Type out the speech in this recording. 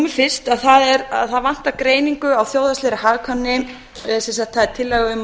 fyrst að það vantar greiningu á þjóðhagslegri hagkvæmni sem sagt það er